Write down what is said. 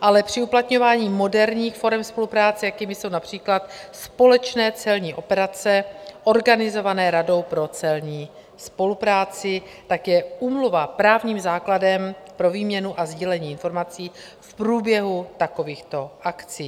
ale při uplatňování moderních forem spolupráce, jakými jsou například společné celní operace organizované Radou pro celní spolupráci, tak je úmluva právním základem pro výměnu a sdílení informací v průběhu takovýchto akcí.